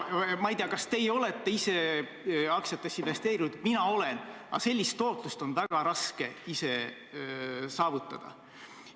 Ma ei tea, kas teie olete ise aktsiatesse investeerinud, mina olen ja tean, et sellist tootlust on väga raske ise saavutada.